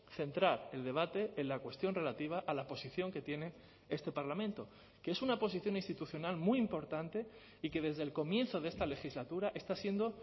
centrar el debate en la cuestión relativa a la posición que tiene este parlamento que es una posición institucional muy importante y que desde el comienzo de esta legislatura está siendo